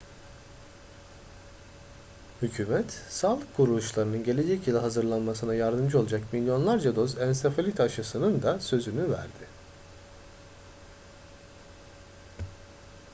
hükümet sağlık kuruluşlarının gelecek yıla hazırlanmasına yardımcı olacak milyonlarca doz ensefalit aşısının da sözünü verdi